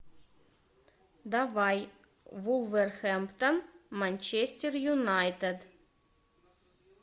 давай вулверхэмптон манчестер юнайтед